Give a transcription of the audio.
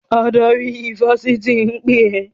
Adarí ifásitì ń pè ẹ́!